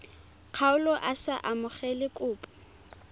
kgaolo a sa amogele kopo